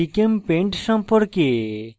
gchempaint সম্পর্কে